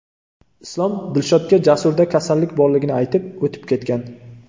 Islom Dilshodga Jasurda kasallik borligini aytib, o‘tib ketgan.